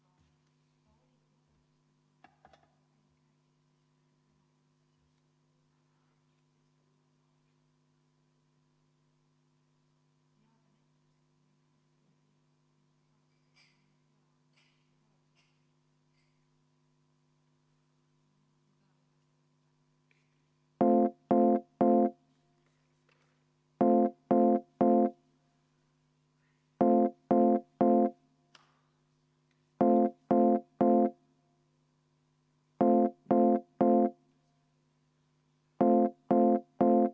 Meil peaks tulema nüüd istungi vaheaeg, et kõik Riigikogu liikmed saaksid oma asjad ära teha, mis neil on sellesama paragrahvi kolmanda lõike järgi ette nähtud.